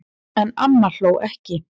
En amma hló ekki.